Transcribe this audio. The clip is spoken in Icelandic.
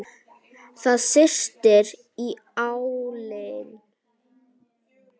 Það syrtir í álinn.